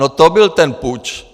No to byl ten puč.